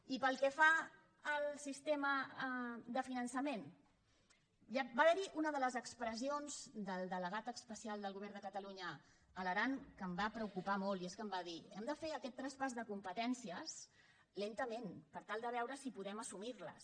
i pel que fa al sistema de finançament va haver·hi una de les expressions del delegat especial del govern de catalunya a l’aran que em va preocupar molt i és que em va dir hem de fer aquest traspàs de competènci·es lentament per tal de veure si podem assumir·les